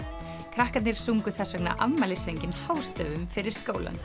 krakkarnir sungu þess vegna afmælissönginn hástöfum fyrir skólann